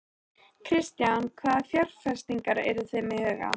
Kristján: Hvaða fjárfestingar eruð þið með í huga?